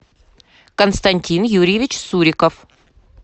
константин юрьевич суриков